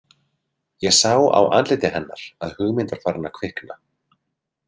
Ég sá á andliti hennar að hugmynd var farin að kvikna.